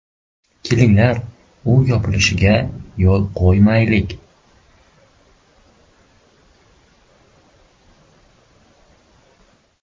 Kelinglar, u yopilishiga yo‘l qo‘ymaylik.